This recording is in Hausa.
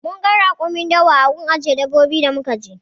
Munga rakumin dawa a gun ajiye dabbobi da muka je